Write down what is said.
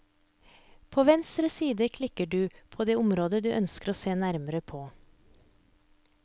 På venstre side klikker du på på det området du ønsker å se nærmere på.